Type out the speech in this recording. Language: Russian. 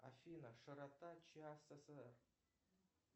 афина широта часа